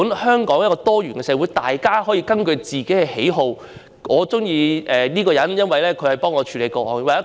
香港這個多元社會原本就是這樣，每個人都可以根據自己的喜好作出選擇。